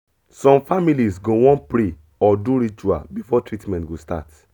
some families go wan pray or do ritual before treatment go start